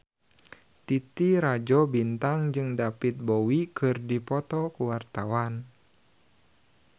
Titi Rajo Bintang jeung David Bowie keur dipoto ku wartawan